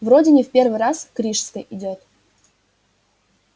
вроде не в первый раз к рижской идёт